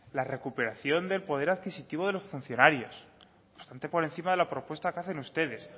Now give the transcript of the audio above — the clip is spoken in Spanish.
la recuperación del poder adquisitivo de los funcionarios bastante por encima de la propuesta que hacen ustedes